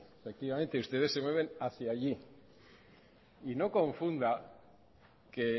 efectivamente ustedes se mueven hacía allí y no confunda que